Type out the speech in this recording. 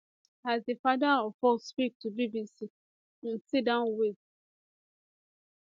as di father of four speak to bbc im siddon wit